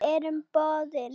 Við erum boðin.